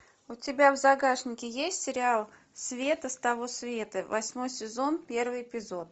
у тебя в загашнике есть сериал света с того света восьмой сезон первый эпизод